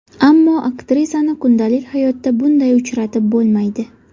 Ammo aktrisani kundalik hayotda bunday uchratib bo‘lmaydi.